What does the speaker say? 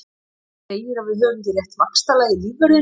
Hann segir að við höfum ekki rétt vaxtalag í lífvörðinn.